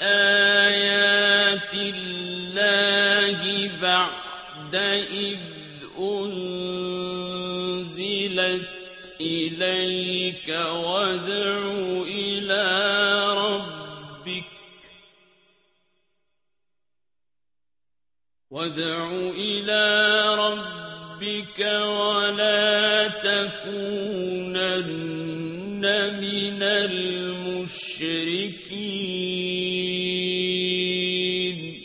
آيَاتِ اللَّهِ بَعْدَ إِذْ أُنزِلَتْ إِلَيْكَ ۖ وَادْعُ إِلَىٰ رَبِّكَ ۖ وَلَا تَكُونَنَّ مِنَ الْمُشْرِكِينَ